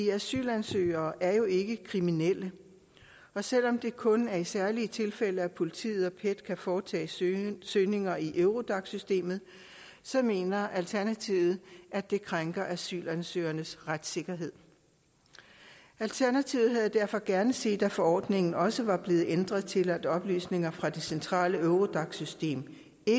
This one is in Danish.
asylansøgere er jo ikke kriminelle og selv om det kun er i særlige tilfælde at politiet og pet kan foretage søgninger søgninger i eurodac systemet så mener alternativet at det krænker asylansøgernes retssikkerhed alternativet havde derfor gerne set at forordningen også var blevet ændret til at oplysninger fra det centrale eurodac system